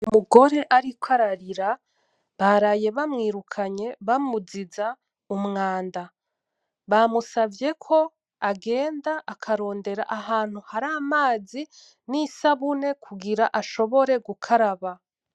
Umugore ariko ararira baraye bamwirukanye bamuziza umwanda , bamusavye ko agenda akarondera ahantu hari amazi nisabune kugira ashobora gukaraba .